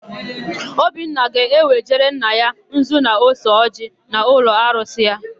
Obinna ga-ewejere nna ya nzu na ose ọjịị n'ụlọarusị ya.